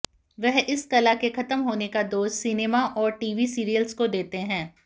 वह इस कला के खत्म होने का दोष सिनेमा और टीवी सीरियल्स को देते हैं